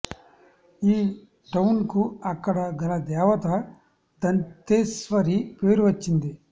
ఈ టవున్ కు అక్కడ కల దేవత దంతేస్వరి పేరు వచ్చింది